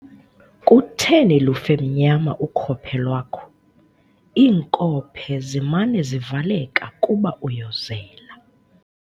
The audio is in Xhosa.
Kutheni lufe mnyama ukhophe lwakho? iinkophe zimana zivaleka kuba uyozela